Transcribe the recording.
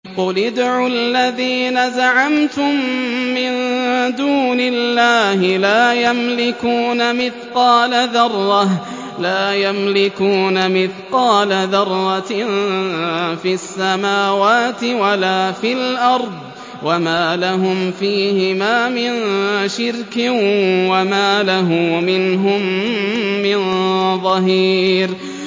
قُلِ ادْعُوا الَّذِينَ زَعَمْتُم مِّن دُونِ اللَّهِ ۖ لَا يَمْلِكُونَ مِثْقَالَ ذَرَّةٍ فِي السَّمَاوَاتِ وَلَا فِي الْأَرْضِ وَمَا لَهُمْ فِيهِمَا مِن شِرْكٍ وَمَا لَهُ مِنْهُم مِّن ظَهِيرٍ